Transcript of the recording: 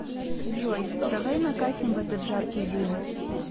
джой давай накатим в этот жаркий день